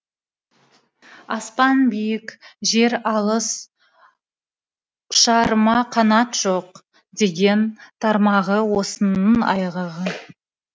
аспан биік жер алыс ұшарыма қанат жоқ деген тармағы осының айғағы